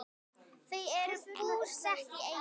Þau eru búsett í Eyjum.